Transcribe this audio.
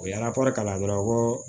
U ye an ka kɔɔri kala dɔrɔn ko